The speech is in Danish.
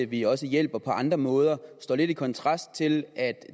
vi også hjælper på andre måder står lidt i kontrast til